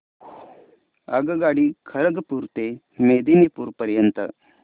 आगगाडी खरगपुर ते मेदिनीपुर पर्यंत